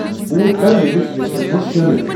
بوٗٹھ کر میٲنِس لسٹس منز شٲمل ۔